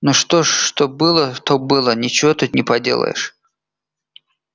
ну что ж что было то было ничего тут не поделаешь